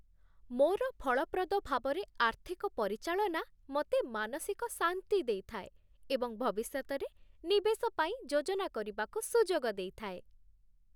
ମୋର ଫଳପ୍ରଦ ଭାବରେ ଆର୍ଥିକ ପରିଚାଳନା ମୋତେ ମାନସିକ ଶାନ୍ତି ଦେଇଥାଏ ଏବଂ ଭବିଷ୍ୟତରେ ନିବେଶ ପାଇଁ ଯୋଜନା କରିବାକୁ ସୁଯୋଗ ଦେଇଥାଏ।